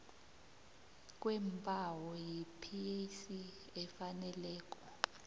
kweembawo yipac efaneleko